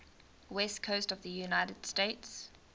west coast of the united states